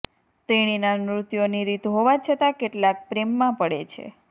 તેણીના નૃત્યોની રીત હોવા છતાં કેટલાક પ્રેમમાં પડે છે